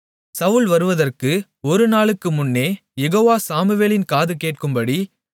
சவுல் வருவதற்கு ஒரு நாளுக்கு முன்னே யெகோவா சாமுவேலின் காது கேட்கும்படி